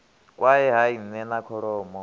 kwae hai nne na kholomo